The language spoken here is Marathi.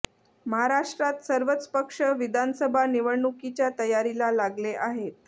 महाराष्ट्रात सर्वच पक्ष विधानसभा निवडणुकीच्या तयारीला लागले आहेत